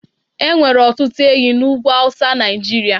enwere otutu ehi na ugwu awusa Naijiria